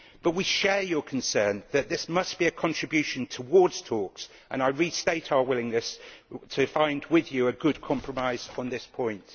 We share your concern that this must be a contribution towards talks, and I restate our willingness to find with you a good compromise on this point.